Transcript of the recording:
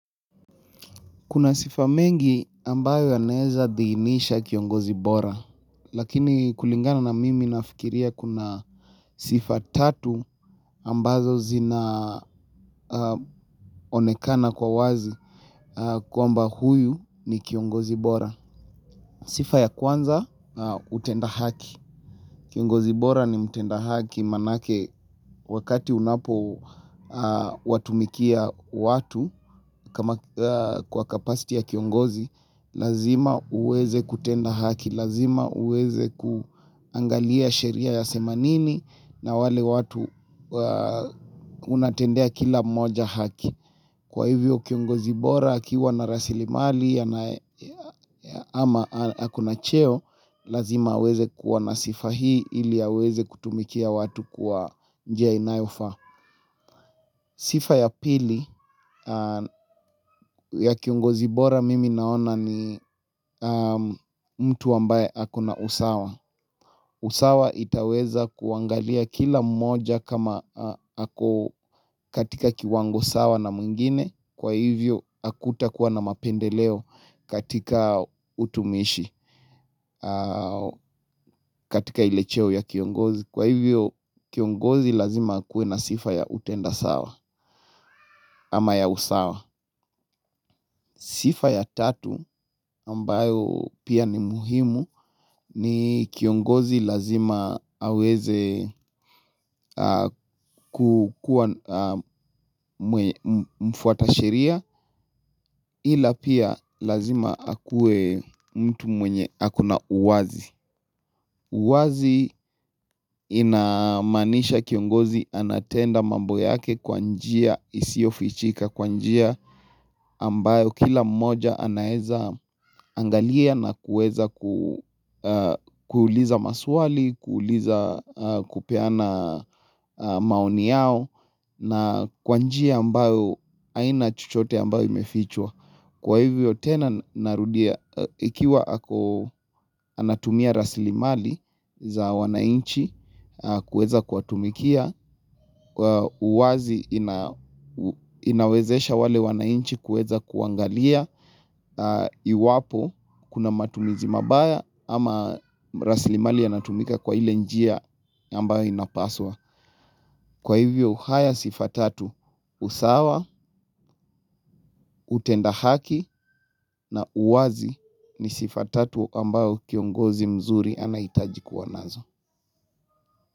Kuna sifa mengi ambayo yanaeza dhihinisha kiongozi bora, lakini kulingana na mimi nafikiria kuna sifa tatu ambazo zina onekana kwa wazi kwamba huyu ni kiongozi bora. Sifa ya kwanza, utenda haki. Kiongozi bora ni mtenda haki manake wakati unapowatumikia watu kwa capacity ya kiongozi, lazima uweze kutenda haki, lazima uweze kuangalia sheria yasema nini na wale watu unatendea kila moja haki. Kwa hivyo kiongo zibora akiwa na rasilimali ama ako na cheo Lazima aweze kuwa na sifa hii ili aweze kutumikia watu kwa njia inayofaa Sifa ya pili ya kiongozi bora mimi naona ni mtu ambaye ako na usawa usawa itaweza kuangalia kila mmoja kama katika kiwango sawa na mwingine Kwa hivyo, hakutakuwa na mapendeleo katika utumishi katika ile cheo ya kiongozi Kwa hivyo, kiongozi lazima akue na sifa ya utenda sawa Ama ya usawa Sifa ya tatu, ambayo pia ni muhimu ni kiongozi lazima aweze kukua mfuata sheria ila pia lazima akue mtu mwenye ako na uwazi uwazi inamaanisha kiongozi anatenda mambo yake kwa njia isiofichika Kwa njia ambayo kila mmoja anaezaangalia na kuweza kuuliza maswali kuuliza kupeana maoni yao na kwa njia ambayo haina chochote ambayo imefichwa Kwa hivyo tena narudia ikiwa ako anatumia raslimali za wanainchi kuweza kuwatumikia kwa uwazi inawezesha wale wanainchi kuweza kuangalia iwapo kuna matumizi mabaya ama raslimali yanatumika kwa ile njia ambayo inapaswa. Kwa hivyo, haya sifa tatu, usawa, utenda haki na uwazi ni sifa tatu ambayo kiongozi mzuri anahitaji kuwa nazo.